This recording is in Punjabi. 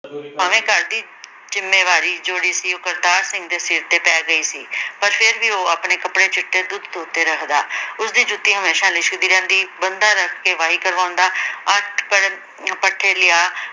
ਭਾਵੇਂ ਘਰ ਦੀ ਜਿੰਮੇਵਾਰੀ ਜਿਹੜੀ ਸੀ ਉਹ ਕਰਤਾਰ ਸਿੰਘ ਦੇ ਸਰ ਤੇ ਪੈ ਗਈ ਸੀ ਪਰ ਫਿਰ ਵੀ ਉਹ ਆਪਣੇ ਕਪੜੇ ਚਿੱਟੇ ਦੁੱਧ ਧੋਤੇ ਰੱਖਦਾ ਉਸਦੀ ਜੁੱਤੀ ਹਮੇਸ਼ਾ ਲਿਸ਼ਕਦੀ ਰਹਿੰਦੀ ਬੰਦਾ ਰੱਖ ਕੇ ਵਾਈ ਕਰਵਾਉਂਦਾ ਅੱਠ ਪਰ ਪੱਠੇ ਲਿਆ